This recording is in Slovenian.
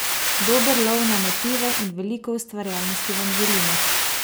Dober lov na motive in veliko ustvarjalnosti vam želimo!